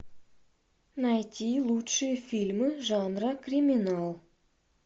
найти лучшие фильмы жанра криминал